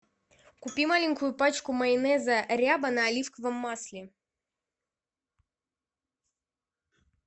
купи маленькую пачку майонеза ряба на оливковом масле